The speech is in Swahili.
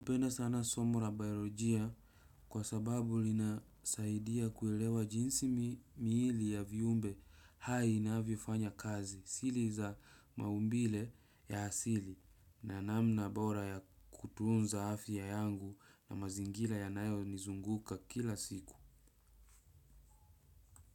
Napenda sana somula baiorojia kwa sababu linasaidia kuelewa jinsi miili ya viumbe hainavyo fanya kazi sili za maumbile ya hasili na namna bora ya kutunza hafya yangu na mazingila ya nayo nizunguka kila siku.